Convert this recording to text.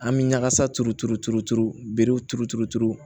An bɛ ɲagasa turu turu turu turu bere turu turu turu